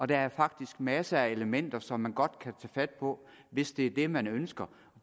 der er faktisk masser af elementer som man godt kan tage fat på hvis det er det man ønsker